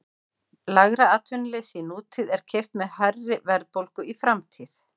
Lægra atvinnuleysi í nútíð er keypt með hærri verðbólgu í framtíð.